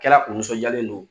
Kɛra u nisɔnjalen don